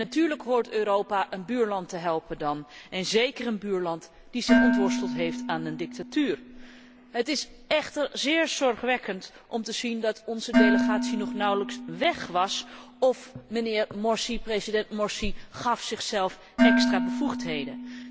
En natuurlijk hoort Europa dan een buurland te helpen, zeker een buurland dat zich ontworsteld heeft aan de dictatuur. Het is echter zeer zorgwekkend om te zien dat onze delegatie nauwelijks weg was, of president Morsi gaf zichzelf extra bevoegdheden.